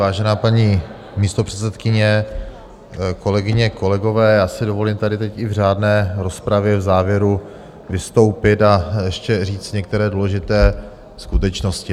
Vážená paní místopředsedkyně, kolegyně, kolegové, já si dovolím tady teď i v řádné rozpravě v závěru vystoupit a ještě říct některé důležité skutečnosti.